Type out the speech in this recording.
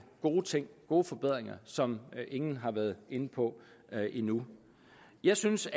gode ting gode forbedringer som ingen har været inde på endnu jeg synes